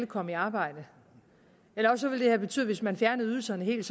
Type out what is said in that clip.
kommet i arbejde eller også ville de have betydet hvis man fjernede ydelserne helt